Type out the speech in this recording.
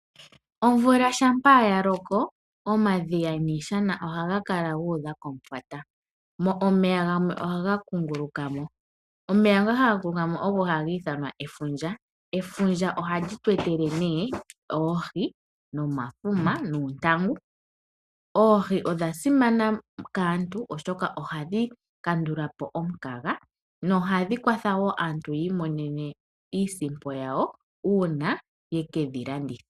Omvula shampa yaloko omadhiya nishana ohaga kaka gu udha omufwata omeya gamwe ohaga kunguluka mo omeya ngoka haga kunguluka mo ogo hagi ithanwa efundja, efundja ohali tu etele nee oohi ,omafuma noontangu oohi odha simana kaantu oshoka ohadhi kandulapo omukaga nohadhi kwatha wo aantu yi imonene iisimpo yawo uuna yeke dhilanditha.